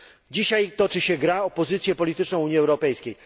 Dzisiaj toczy się gra o pozycję polityczną Unii Europejskiej.